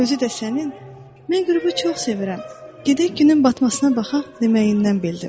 Özü də sənin, “Mən qürubu çox sevirəm, gedək günün batmasına baxaq” deməyindən bildim.